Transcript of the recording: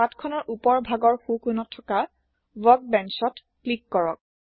পাঠখনৰ ওপৰৰ ভাগত সোঁ কোনত থকা Workbenchত ক্লিক কৰক